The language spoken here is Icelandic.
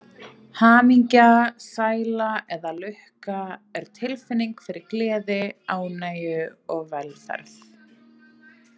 Hamingja, sæla eða lukka er tilfinning fyrir gleði, ánægju og velferð.